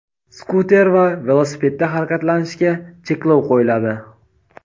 skuter va velosipedda harakatlanishga cheklov qo‘yiladi.